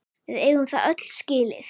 Við eigum það öll skilið!